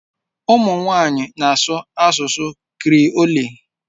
Ụmụ nwanyị ahụ na-asụ Creole